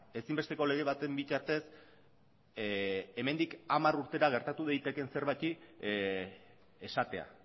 ezinbesteko lege baten bitartez hemendik hamar urtera gertatu daitekeen zerbaiti esatea